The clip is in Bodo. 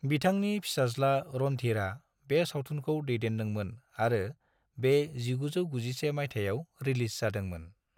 बिथांनि फिसाज्ला रणधीरआ बे सावथुनखौ दैदेनदोंमोन आरो बे 1991 मायथाइयाव रिलीज जादोंमोन।